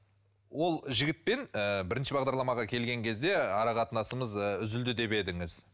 ол жігітпен ыыы бірінші бағдарламаға келген кезде ара қатынасымыз ыыы үзілді деп едіңіз